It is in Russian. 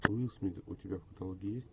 уилл смит у тебя в каталоге есть